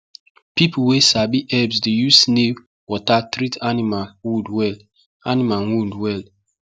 people wey sabi herbs dey use snail water treat animal wound well animal wound well